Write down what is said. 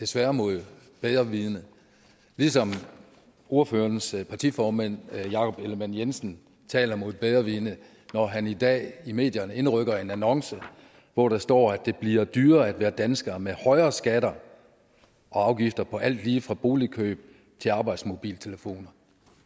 desværre mod bedre vidende ligesom ordførerens partiformand jakob ellemann jensen taler mod bedre vidende når han i dag i medierne indrykker en annonce hvor der står at det bliver dyrere at være dansker med højere skatter og afgifter på alt lige fra boligkøb til arbejdsmobiltelefoner